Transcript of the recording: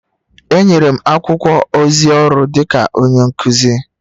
Enyere m akwụkwọ ozi ọrụ dịka onye nkuzi..